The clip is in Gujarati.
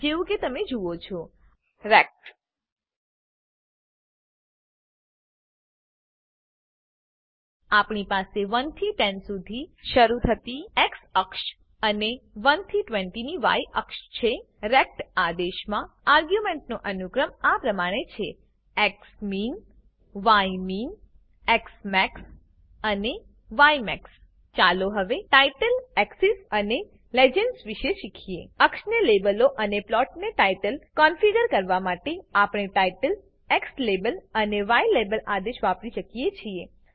જેવું કે તમે જુઓ છોrect આપણી પાસે 1 થી 10 શરુ થતી એક્સ અક્ષ અને 1 થી 20 ની ય અક્ષ છે આદેશમાં આર્ગ્યુંમેંટનો અનુક્રમ આ પ્રમાણે છે xminyminઝમેક્સ અને યમેક્સ ચાલો હવે titleએક્સિસ અને લિજેન્ડ્સ વિષે શીખીએ અક્ષને લેબલો અને પ્લોટને ટાઈટલ કન્ફીગર કરવા માટે આપણે ટાઇટલ એક્સ લાબેલ અને યલાબેલ આદેશ વાપરી શકીએ છીએ